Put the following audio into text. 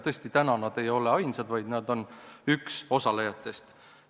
Tõesti, nad ei ole ainsad, vaid nad on üks osalejatest.